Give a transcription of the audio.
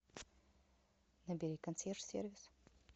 набери консьерж сервис